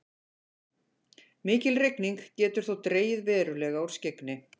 mikil rigning getur þó dregið verulega úr skyggni